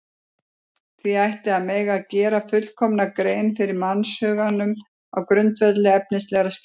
Því ætti að mega gera fullkomna grein fyrir mannshuganum á grundvelli efnislegra skýringa.